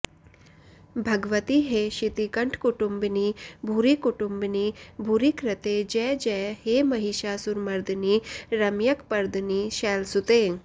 भगवति हे शितिकण्ठकुटुंबिनि भूरिकुटुंबिनि भूरिकृते जय जय हे महिषासुरमर्दिनि रम्यकपर्दिनि शैलसुते